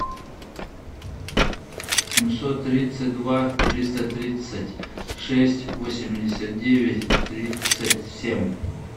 семьсот тридцать два триста тридцать шесть восемьдесят девять тридцать семь